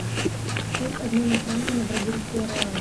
курс обмена франка на бразильский реал